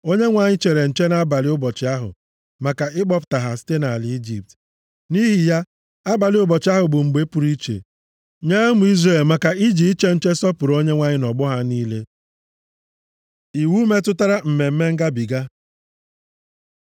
Onyenwe anyị chere nche nʼabalị ụbọchị ahụ maka ịkpọpụta ha site nʼala Ijipt. Nʼihi ya, abalị ụbọchị ahụ bụ mgbe pụrụ iche nye ụmụ Izrel maka iji iche nche sọpụrụ Onyenwe anyị nʼọgbọ ha niile. Iwu metụtara Mmemme Ngabiga